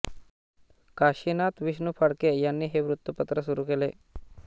काशिनाथ विष्णू फडके यांनी हे वृत्तपत्र सुरू केले